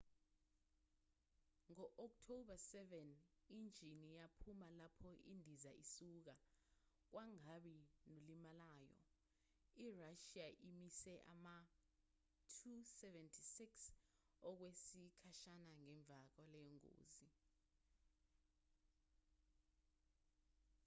ngo-october 7 injini yaphuma lapho indiza isuka kwangabi nolimalayo. irashiya imise ama-ll-76 okwesikhashana ngemva kwaleyo ngozi